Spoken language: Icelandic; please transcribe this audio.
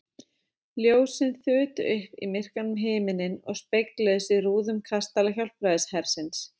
Ljósin þutu upp á myrkan himininn og spegluðust í rúðum kastala Hjálpræðishersins.